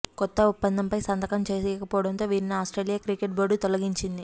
కొత్త ఒప్పందంపై సంతకం చేయక పోవడంతో వీరిని ఆస్ట్రేలి యా క్రికెట్ బోర్డు తొలగించింది